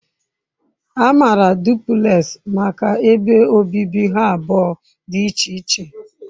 A maara duplekxi maka ebe obibi ha abụọ dị iche iche.